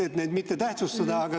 Et neid mitte tähtsustada.